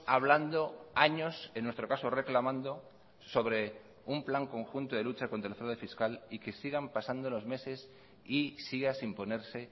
hablando años en nuestro caso reclamando sobre un plan conjunto de lucha contra el fraude fiscal y que sigan pasando los meses y siga sin ponerse